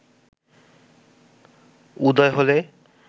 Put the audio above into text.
উদয় হলে